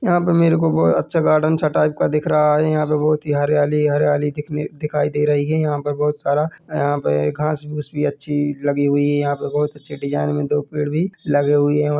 यहाँ पे मेरे को बहोत अच्छा गार्डन सा टाइप का दिख रहा है यहाँ पे बहोत ही हरयाली ही हरयाली कितनी दिखाई दे रही है यहाँ पे बहोत सारा यहाँ पे घास-फूस भी अच्छी लगी हुई है यहाँ पे बहोत अच्छी डिज़ाइन में दो पेड़ भी लगे हुए है।